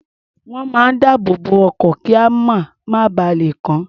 Wọ́n máa ń dáàbò bo ọkọ̀, kíamọ̀ má ba lè kàn án.